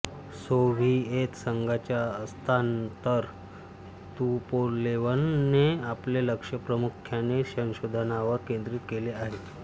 Soviet संघाच्या अस्तानंतर तुपोलेवने आपले लक्ष प्रामुख्याने संशोधनावर केंद्रित केले आहे